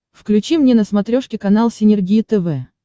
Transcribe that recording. включи мне на смотрешке канал синергия тв